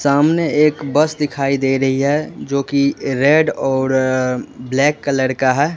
सामने एक बस दिखाई दे रही है जोकि रेड और ब्लैक कलर का है।